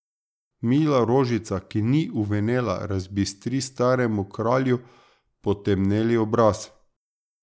Mila rožica, ki ni uvenela, razbistri staremu kralju potemneli obraz.